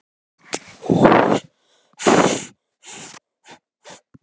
Hvað, hvað svona lest þú í spilin?